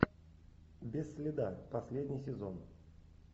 без следа последний сезон